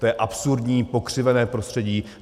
To je absurdní, pokřivené prostředí.